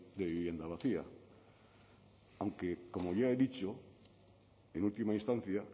de vivienda vacía aunque como ya he dicho en última instancia